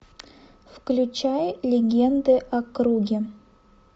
включай легенды о круге